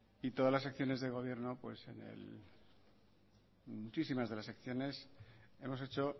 y todas las acciones del gobierno pues en muchísimas de las acciones hemos hecho